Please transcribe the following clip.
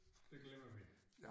Det glemmer vi